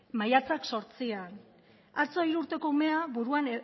maiatzak zortzian atzo hiru urteko umea buruan